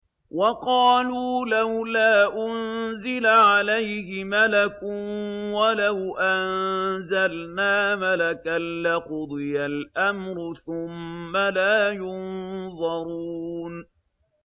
وَقَالُوا لَوْلَا أُنزِلَ عَلَيْهِ مَلَكٌ ۖ وَلَوْ أَنزَلْنَا مَلَكًا لَّقُضِيَ الْأَمْرُ ثُمَّ لَا يُنظَرُونَ